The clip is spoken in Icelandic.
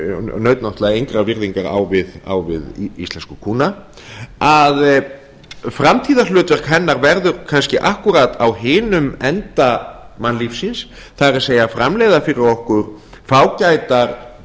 naut engrar virðingar á við íslensku kúna framtíðarhlutverk hennar verður kannski akkúrat á hinum enda mannlífsins það er framleiða fyrir okkur fágætar